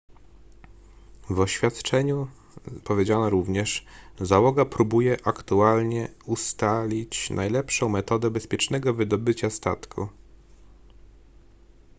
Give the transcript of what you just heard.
w oświadczeniu powiedziano również załoga próbuje aktualnie ustalić najlepszą metodę bezpiecznego wydobycia statku